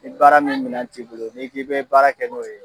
Ni baara min minan t'i bolo n'i k'i bɛ baara kɛ n'o ye